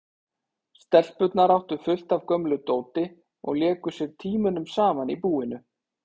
Stelpurnar áttu fullt af gömlu dóti og léku sér tímunum saman í búinu.